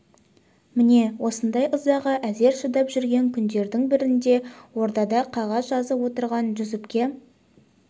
міне осылай ызаға әзер шыдап жүрген күндердің бірінде ордада қағаз жазып отырған жүсіпке